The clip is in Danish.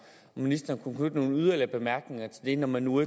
ministeren kunne knytte nogle yderligere bemærkninger til det når man nu